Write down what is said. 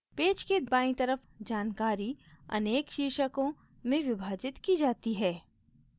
page के बायीं तरफ जानकारी अनेक शीर्षकों में विभाजित की जाती है